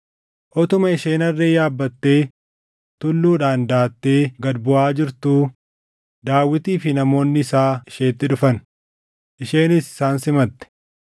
Utuma isheen harree yaabbattee tulluudhaan daʼattee gad buʼaa jirtuu Daawitii fi namoonni isaa isheetti dhufan; isheenis isaan simatte.